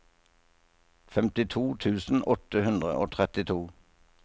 femtito tusen åtte hundre og trettito